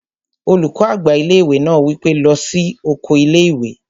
Olùkọ́ àgbà ilé-ìwé náà wí pé, "lọ sí oko ilé-ìwé!"